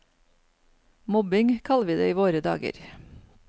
Mobbing kaller vi det i våre dager.